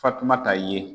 Fatumata ye